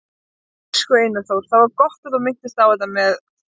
Elsku Einar Þór, það var gott að þú minntist á þetta með